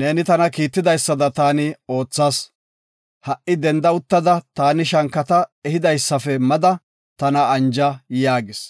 Neeni tana kiitidaysada taani oothas; ha77i denda uttada, taani shankata ehidaysafe mada, tana anja” yaagis.